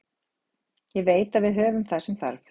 Ég veit að við höfum það sem þarf.